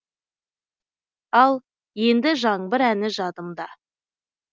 ал енді жаңбыр әні жадымда